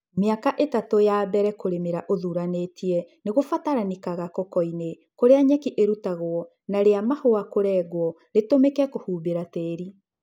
Mĩaka ĩtatũ ya mbele kũrĩmĩra ũthuranĩtie nĩgũbataranĩkaga kokoinĩ kũrĩa nyeki ĩrutagwo na rĩa mahũa kũrengwo ritũmĩke kũhumbĩra tĩri.